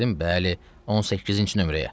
Dedim bəli, 18-inci nömrəyə.